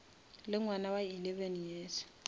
le ngwana wa eleven years